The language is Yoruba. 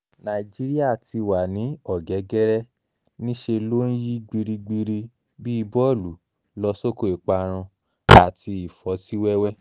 nàìjíríà ti wà ní ọ̀gẹ́gẹ́rẹ́ nísẹ̀ ló ń yí gbirigbiri bíi bọ́ọ̀lù lọ sóko ìparun àti ìfọ́síwẹ́wẹ́